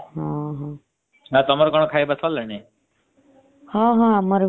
ତମର କଣ ଖାଇବା ସରିଲାଣି?